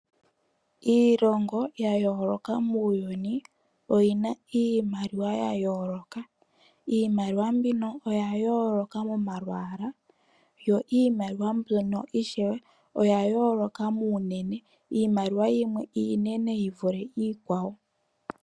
Iilongo ya yooloka muuyuni oyi na iimaliwa ya yooloka. Iimaliwa mbino oya yooloka momalwala, yo iimaliwa mbino ishewe oya yooloka muunene, iimaliwa yimwe iinene yi vule iikwawo.